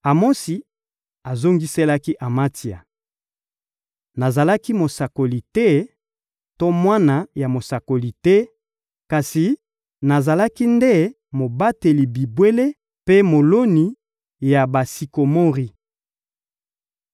Amosi azongiselaki Amatsia: — Nazalaki mosakoli te to mwana ya mosakoli te, kasi nazalaki nde mobateli bibwele mpe moloni ya basikomori.